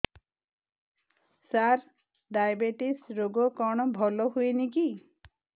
ସାର diabetes ରୋଗ କଣ ଭଲ ହୁଏନି କି